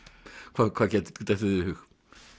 hvað hvað dettur þér í hug